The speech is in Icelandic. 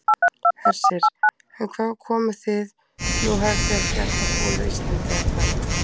Hersir: En hvaðan komið þið, nú hafið þið ekki alltaf búið á Íslandi, eða hvað?